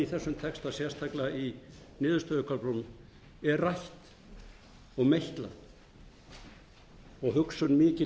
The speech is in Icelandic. í þessum texta sérstaklega í niðurstöðuköflunum er rætt og meitlað og hugsun mikil